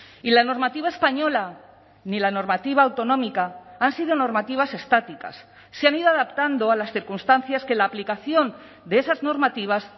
y la normativa española ni la normativa autonómica han sido normativas estáticas se han ido adaptando a las circunstancias que la aplicación de esas normativas